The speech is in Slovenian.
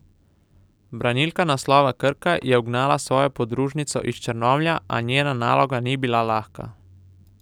Branilka naslova Krka je ugnala svojo podružnico iz Črnomlja, a njena naloga ni bila lahka.